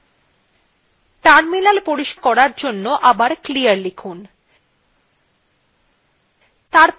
terminal পরিষ্কার করার জন্য আবার clear লিখুন